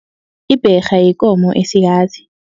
Ibherha yikomo esikazi.